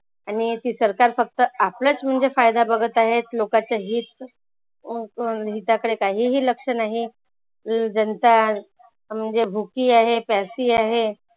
आणि ती सरकार फक्त आपलाच म्हणजे फायदा बघत आहे. लोकाचे हित च्या कडे काहीही लक्ष नाही. जनता म्हणजे भुकी आहे, प्यासी आहे.